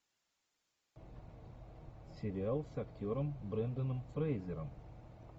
сериал с актером бренданом фрейзером